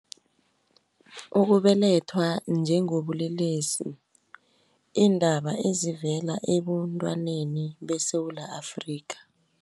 Ukubelethwa njengobulelesi , iindaba ezivela ebuntwaneni beSewula Afrika.